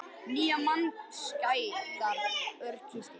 Nýjar mannskæðar aurskriður